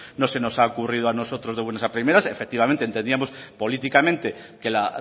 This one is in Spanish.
nosotros no se nos ha ocurrido a nosotros de buenas a primeras efectivamente entendíamos políticamente que la